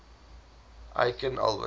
aikin albert